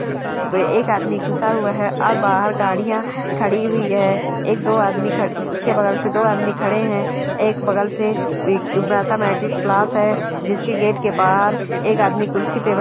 एक आदमी घुसा हुआ है और बाहर गाड़ियां खड़ी हुई है एक दो आदमी खड़ उसके बगल से दो आदमी खड़े है एक बगल से मैथमेटिक्स क्लास है जिसके गेट के बाहर एक आदमी कुर्सी पे --